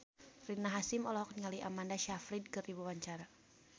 Rina Hasyim olohok ningali Amanda Sayfried keur diwawancara